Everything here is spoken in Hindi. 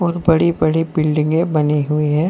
बड़ी बड़ी बिल्डिंगे बनी हुई हैं।